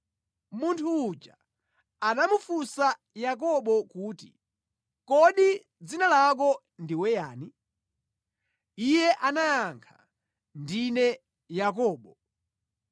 Munthu uja anamufunsa Yakobo kuti, “Kodi dzina lako ndiwe yani?” Iye anayankha, “Ndine Yakobo.”